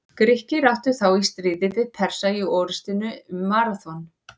Grikkir áttu þá í stríði við Persa í orrustunni um Maraþon.